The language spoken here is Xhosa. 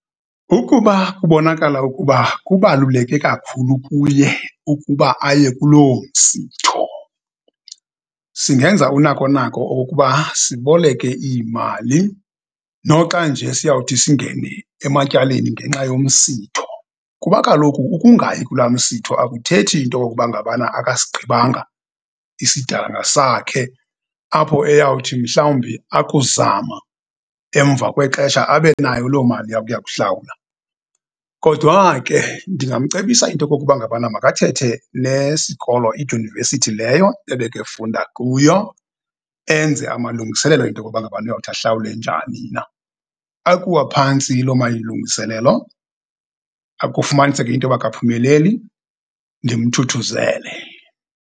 Ukuba kubonakala ukuba kubaluleke kakhulu kuye ukuba aye kuloo msitho singenza unako nako okokuba siboleke iimali noxa nje siyawuthi singene ematyaleni ngenxa yomsitho. Kuba kaloku ukungayi kula msitho akuthethi into yokuba ngabana akasigqibanga isidanga sakhe apho eyawuthi mhlawumbi akuzama emva kwexesha abe nayo loo mali yakuya kuhlawula. Kodwa ke ndingamcebisa into okokuba ngabana makathethe nesikolo idyunivesithi leyo ebekefunda kuyo, enze amalungiselelo into yokokuba ngabana uyawuthi ahlawule njani na. Akuwa phantsi lo malungiselelo, kufumaniseka into yoba akaphumeleli, ndimthuthuzele.